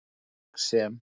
Verk sem